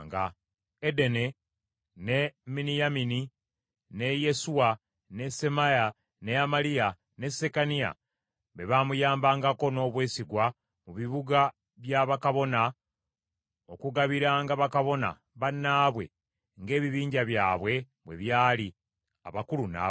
Edene, ne Miniyamini, ne Yesuwa, ne Semaaya, ne Amaliya ne Sekaniya, be baamuyambangako n’obwesigwa mu bibuga bya bakabona okugabiranga bakabona bannaabwe ng’ebibinja byabwe bwe byali, abakulu n’abato.